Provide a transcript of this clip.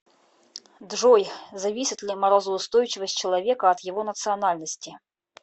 джой зависит ли морозоустойчивость человека от его национальности